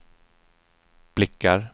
blickar